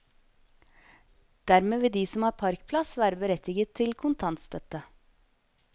Dermed vil de som har parkplass være berettiget til kontantstøtte.